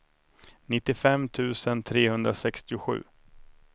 nittiofem tusen trehundrasextiosju